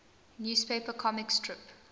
newspaper comic strip